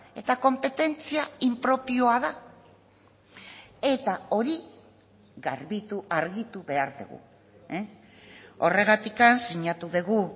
eta konpetentzia impropioa da eta hori garbitu argitu behar dugu horregatik sinatu dugu